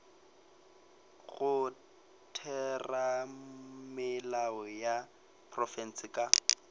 go theramelao ya profense ka